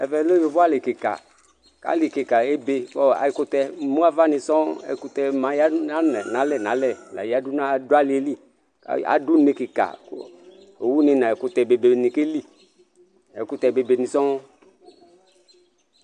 Ɛvɛ lɛ yovo ali kika ali ebe ɛkutɛ emu ava ɛkutɛ yadu yadu nalɛ yadunalɛ du aliɛli aɖu une kika owu be nu ɛkutɛ keli ɛkutɛ bebeni sɔɔ